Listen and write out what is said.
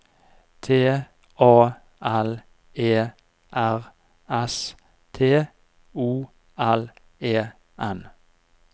T A L E R S T O L E N